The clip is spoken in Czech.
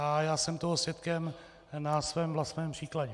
A já jsem toho svědkem na svém vlastním příkladě.